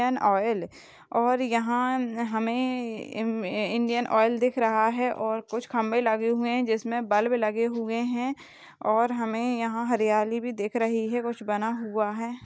Indian oil और यहाँ हमे इ इंडियन ऑइल दिख रहा है और कुछ खंबे लगे हुए है जिसमे बल्ब लगे हुए है और हमे यहाँ हरियाली भी दिख रही है कुछ बना हुआ है।